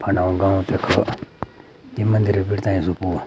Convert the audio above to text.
फंडाे गाँव देखो ये मंदिर बिड़ते जुपू।